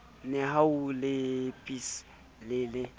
nehawu le psa e le